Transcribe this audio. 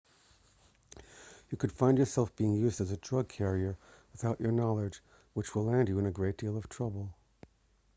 you could find yourself being used as a drug carrier without your knowledge which will land you in a great deal of trouble